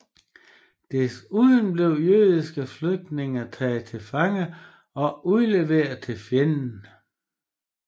Desuden blev jødiske flygtninge taget til fange og udleveret til fjenden